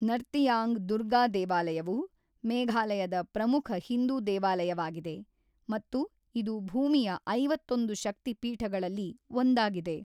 ನರ್ತಿಯಾಂಗ್ ದುರ್ಗಾ ದೇವಾಲಯವು ಮೇಘಾಲಯದ ಪ್ರಮುಖ ಹಿಂದೂ ದೇವಾಲಯವಾಗಿದೆ ಮತ್ತು ಇದು ಭೂಮಿಯ ಐವತ್ತೊಂದು ಶಕ್ತಿ ಪೀಠಗಳಲ್ಲಿ ಒಂದಾಗಿದೆ.